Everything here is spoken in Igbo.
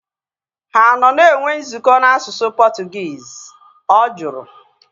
Ha anọ na-enwe nzukọ na asụsụ Portuguese? Ọ jụrụ